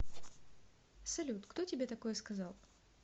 салют кто тебе такое сказал